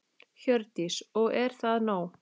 Hjördís: Og er það nóg?